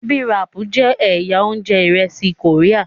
bibimpap jẹ ẹyà oúnjẹ iresi Korea.